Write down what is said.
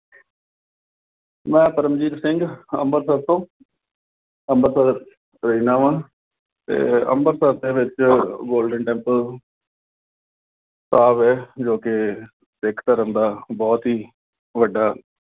ਮੈਂ ਪਰਮਜੀਤ ਸਿੰਘ, ਅੰਮ੍ਰਿਤਸਰ ਤੋਂ। ਅੰਮ੍ਰਿਤਸਰ ਰਹਿਣਾ ਵਾਂ। ਤੇ ਅੰਮ੍ਰਿਤਸਰ ਦੇ ਵਿੱਚ Golden Temple ਹੈ, ਜੋ ਕਿ ਸਿੱਖ ਧਰਮ ਦਾ ਬਹੁਤ ਹੀ ਵੱਡਾ